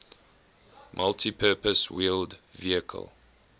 multipurpose wheeled vehicle